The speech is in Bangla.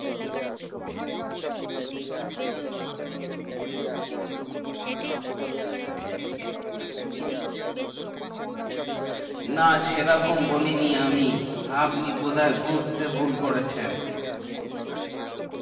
so আপনি বলতে চাইছেন যে আপনি online থেকে কিছু কিনের না তাইতো না সেই রকম বলেনি আমি আপনি বধায় বুঝতে ভুল করছেন আচ্ছা